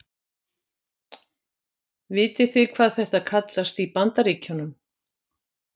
Vitið þið hvað þetta kallast í Bandaríkjunum?